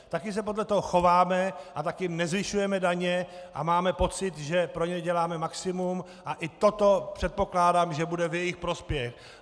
Také se podle toho chováme a také nezvyšujeme daně, a mám pocit, že pro ně děláme maximum, a i toto předpokládám, že bude v jejich prospěch.